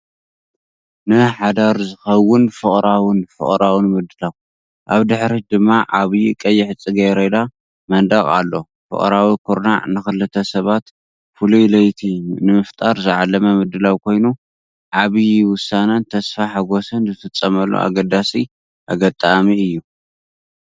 ንሓዳር ዝኸውን ፍቕራውን ፍቕራውን ምድላው። ኣብ ድሕሪት ድማ ዓቢ ቀይሕ ጽጌረዳ መንደቕ ኣሎ። ፍቕራዊ ኩርናዕ ንኽልተ ሰባት ፍሉይ ለይቲ ንምፍጣር ዝዓለመ ምድላው ኮይኑ፡ ዓቢ ውሳነን ተስፋ ሓጎስን ዝፍጸመሉ ኣገዳሲ ኣጋጣሚ እዩ።